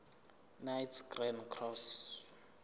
knights grand cross